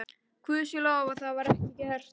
Guði sé lof að það var ekki gert.